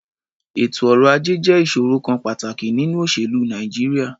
Ètò ọrọ̀-ajẹ́ jẹ́ ìṣòrò kan pàtàkì nínú òṣèlú Nàìjíríà.